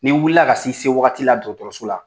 Ni wulila ka se i se waati la dɔgɔtɔrɔso la